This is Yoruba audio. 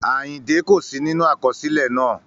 Àyìndẹ́ kò sí nínú àkọsílẹ̀ náà